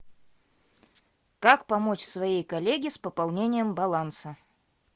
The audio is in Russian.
как помочь своей коллеге с пополнением баланса